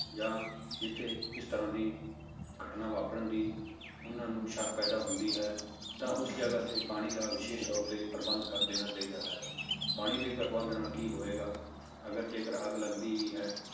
ਜਾਂ ਜਿੱਥੇ ਇਸ ਤਰ੍ਹਾਂ ਦੀ ਘਟਨਾ ਵਾਪਰਨ ਦੀ ਉਹਨਾਂ ਨੂੰ ਸੱਕ ਪੈਦਾ ਹੁੰਦੀ ਹੈ ਤਾਂ ਉਸ ਜਗ੍ਹਾ ਤੇ ਪਾਣੀ ਦਾ ਵਿਸ਼ੇਸ਼ ਤੌਰ ਤੇ ਪ੍ਰਬੰਧ ਕਰ ਦੇਣਾ ਚਾਹੀਦਾ ਹੈ, ਪਾਣੀ ਦੇ ਪ੍ਰਬੰਧ ਨਾਲ ਕੀ ਹੋਵੇਗਾ, ਅਗਰ ਜੇਕਰ ਅੱਗ ਲੱਗਦੀ ਵੀ ਹੈ,